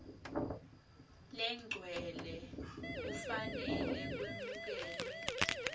legcwele kufanele kwemukelwe